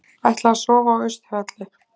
Ætla að sofa á Austurvelli